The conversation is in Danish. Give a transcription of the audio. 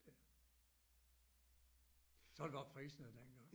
Der sådan var priserne dengang